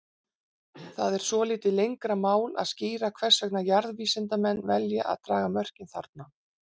Það er svolítið lengra mál að skýra hvers vegna jarðvísindamenn velja að draga mörkin þarna.